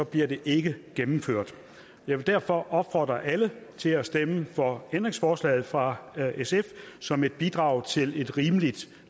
bliver det ikke gennemført jeg vil derfor opfordre alle til at stemme for ændringsforslaget fra sf som et bidrag til et rimeligt